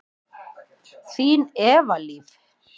Þín, Eva Líf.